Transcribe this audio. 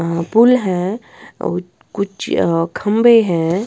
पुल है और कुछ खंबे हैं।